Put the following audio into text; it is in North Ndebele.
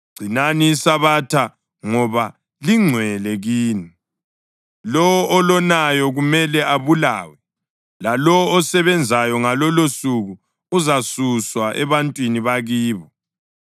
Gcinani iSabatha ngoba lingcwele kini. Lowo olonayo kumele abulawe, lalowo osebenzayo ngalolosuku uzasuswa ebantwini bakibo.